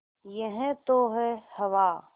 यह तो है हवा